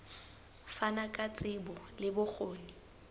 fana ka tsebo le bokgoni